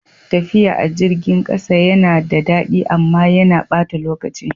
Tafiya a jirgin ƙasa yana da daɗi amma yana ɓata lokaci.